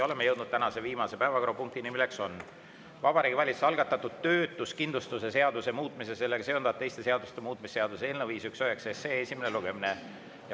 Oleme jõudnud tänase viimase päevakorrapunktini, mis on Vabariigi Valitsuse algatatud töötuskindlustuse seaduse muutmise ja sellega seonduvalt teiste seaduste muutmise seaduse eelnõu 519 esimene lugemine.